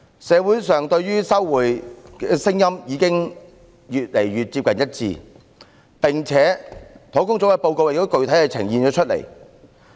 社會上對於收回高爾夫球場的聲音已經漸趨一致，專責小組的報告亦已具體呈現出來。